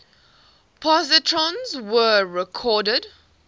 positrons were reported